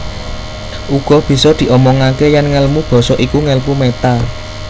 Uga bisa diomongaké yèn ngèlmu basa iku ngèlmu méta